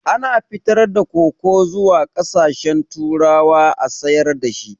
Ana fitar da koko zuwa ƙasashen turawa a sayar dashi